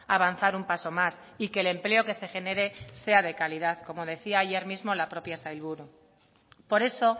avanzar un paso más y que el empleo que se genere sea de calidad como decía ayer mismo la propia sailburu por eso